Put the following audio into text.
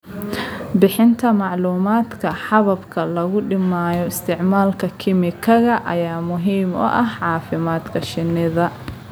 Bixinta macluumaadka hababka lagu dhimayo isticmaalka kiimikada ayaa muhiim u ah caafimaadka shinnida.